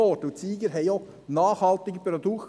Auch die Sieger hatten nachhaltige Produkte.